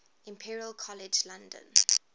imperial college london